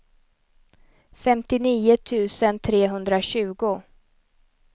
femtionio tusen trehundratjugo